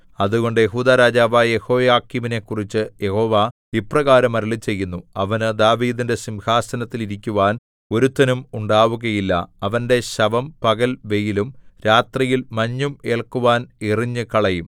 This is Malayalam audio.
അതുകൊണ്ട് യെഹൂദാ രാജാവായ യെഹോയാക്കീമിനെക്കുറിച്ച് യഹോവ ഇപ്രകാരം അരുളിച്ചെയ്യുന്നു അവന് ദാവീദിന്റെ സിംഹാസനത്തിൽ ഇരിക്കുവാൻ ഒരുത്തനും ഉണ്ടാവുകയില്ല അവന്റെ ശവം പകൽ വെയിലും രാത്രിയിൽ മഞ്ഞും ഏല്ക്കുവാൻ എറിഞ്ഞുകളയും